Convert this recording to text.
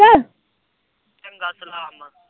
ਚੰਗਾ ਸਲਾਮ ਆ।